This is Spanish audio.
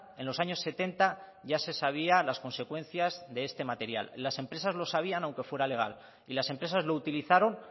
en los años setenta ya se sabía las consecuencias de este material las empresas lo sabían aunque fuera legal y las empresas lo utilizaron